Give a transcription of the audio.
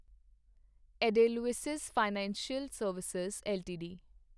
Edelweiss financial service LTD